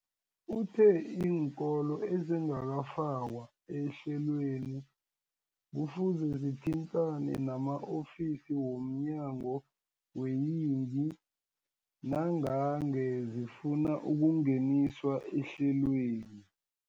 Uthe iinkolo ezingakafakwa ehlelweneli kufuze zithintane nama-ofisi wo mnyango weeyingi nangange zifuna ukungeniswa ehlelweni.